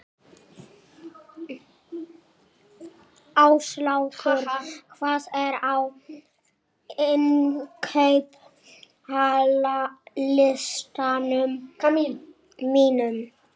Áslákur, hvað er á innkaupalistanum mínum?